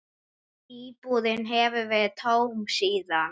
Íbúðin hefur verið tóm síðan.